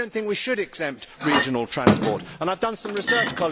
I do not think we should exempt regional transport, and I have done some research.